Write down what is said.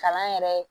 Kalan yɛrɛ